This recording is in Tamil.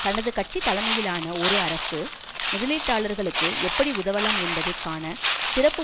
தனது கட்சி தலைமையிலான ஒரு அரசு முதலீட்டாளர்களுக்கு எப்படி உதவலாம் என்பதை காண சிறப்பு